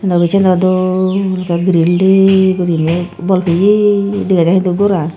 obissano dol ekkey gril dei guriney bol peye dega jai hintu goran.